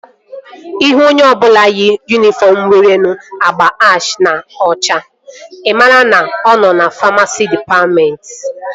Ịhụ onye ọbụla yi yunifọm nwere agba ash na ọcha i maara na ọ nọ famasi dịpatmentị